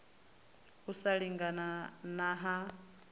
u sa lingana na ha